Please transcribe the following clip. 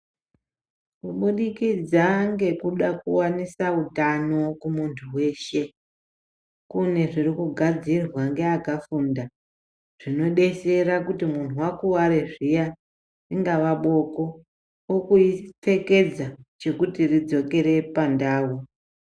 Kubudikidza ngekuda kuwanisa hutano kumunhu weshe kune zviri kugadzirwa ngeeakafunda zvinodetsera kuti munhu wakuwara zviya ringava boko wokupfekedza chekuti ridzokere pandau.